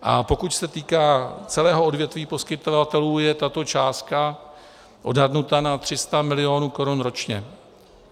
A pokud se týká celého odvětví poskytovatelů, je tato částka odhadnuta na 300 milionů korun ročně;